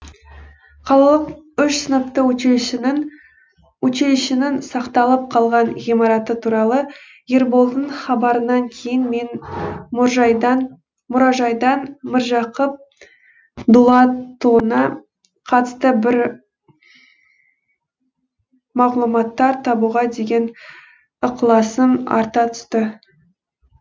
қалалық үш сыныпты училищенің сақталып қалған ғимараты туралы ерболдың хабарынан кейін менің мұражайдан міржақып дулатұлына қатысты бір мағлұматтар табуға деген ықыласым арта түсті